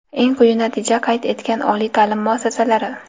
Eng quyi natija qayd etgan oliy taʼlim muassasalari:.